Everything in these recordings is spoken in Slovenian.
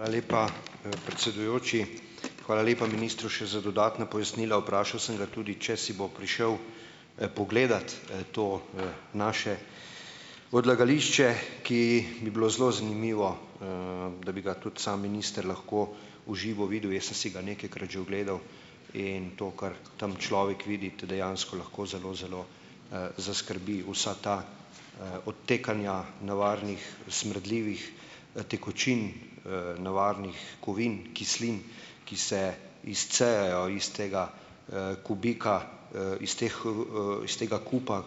Hvala lepa, predsedujoči. Hvala lepa ministru še za dodatna pojasnila. Vprašal sem ga tudi, če si bo prišel pogledat, to, naše odlagališče, ki bi bilo zelo zanimivo, da bi ga tudi sam minister lahko v živo videl. Jaz sem si ga nekajkrat že ogledal, in to kar tam človek vidi, te dejansko lahko zelo zelo, zaskrbi. Vsa ta, odtekanja nevarnih, smrdljivih, tekočin, nevarnih kovin, kislin, ki se izcejajo iz tega, kubika, iz teh, iz tega kupa,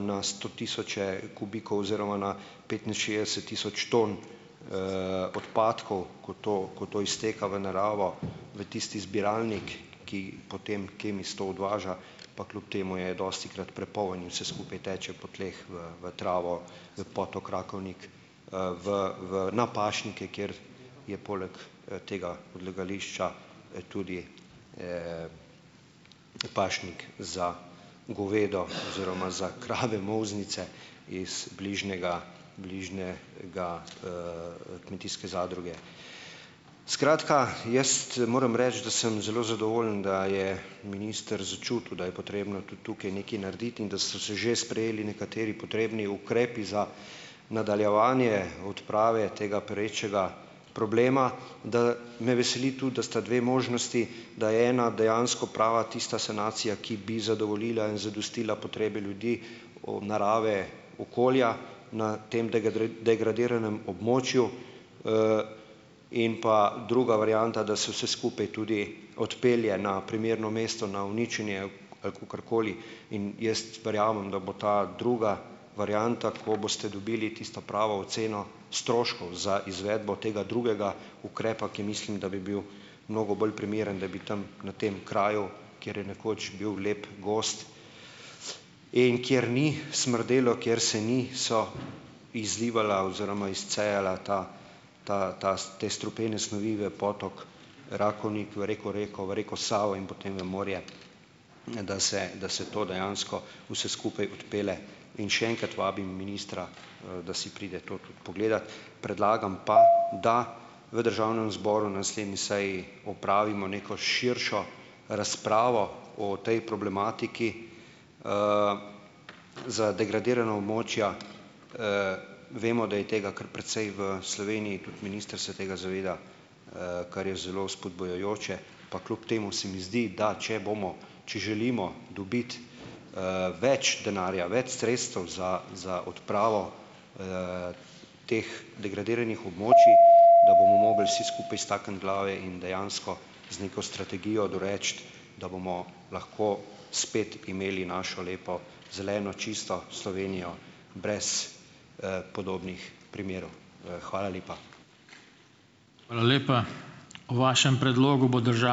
na sto tisoče kubikov oziroma na petinšestdeset tisoč ton, odpadkov, ko to, ko to izteka v naravo, v tisti zbiralnik, ki potem Kemis to odvaža, pa kljub temu je dostikrat prepoln in vse skupaj teče po tleh, v, v travo, v potok Rakovnik, v, v na pašnike, kjer je poleg, tega odlagališča, tudi, pašnik za govedo oziroma za krave molznice iz bližnjega, bližnje ga, kmetijske zadruge. Skratka, jaz moram reči, da sem zelo zadovoljen, da je minister začutil, da je potrebno tudi tukaj nekaj narediti, in da so se že sprejeli nekateri potrebni ukrepi za nadaljevanje odprave tega perečega problema, da me veseli tudi, da sta dve možnosti, da je ena dejansko prava, tista sanacija, ki bi zadovoljila, zadostila potrebe ljudi, od narave, okolja na tem degradiranem območju. In pa druga varianta, da se vse skupaj tudi odpelje na primerno mesto na uničenje ali kakorkoli, in jaz verjamem, da bo ta druga varianta, ko boste dobili tisto pravo oceno stroškov za izvedbo tega drugega ukrepa, ki mislim, da bi bil mnogo bolj primeren, da bi tam na tem kraju, kjer je nekoč bil lep gozd in kjer ni smrdelo, kjer se niso izlivala oziroma izcejala ta, ta, ta, te strupene snovi v potok, Rakovnik, v reko Reko, v reko Savo in potem v morje, da se, da se to dejansko vse skupaj odpelje. In še enkrat vabim ministra, da si pride to tudi pogledat. Predlagam pa, da v državnem zboru na naslednji seji opravimo neko širšo razpravo o tej problematiki. Za degradirana območja, vemo, da je tega kar precej v Sloveniji, tudi minister se tega zaveda, kar je zelo vzpodbujajoče, pa kljub temu se mi zdi, da, če bomo, če želimo dobiti, več denarja, več sredstev za za odpravo, teh degradiranih območij, da bomo mogli vsi skupaj stakniti glave in dejansko z neko strategijo doreči, da bomo lahko spet imeli našo lepo, zeleno, čisto Slovenijo, brez, podobnih primerov. Hvala lepa.